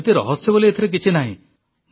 ସେମିତି ରହସ୍ୟ ବୋଲି ଏଥିରେ କିଛି ନାହିଁ